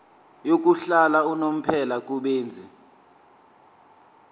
yokuhlala unomphela kubenzi